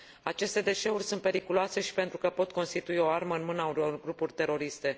Aceste deșeuri sunt periculoase și pentru că pot constitui o armă în mâna unor grupuri teroriste.